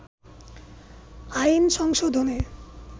আইন সংশোধনে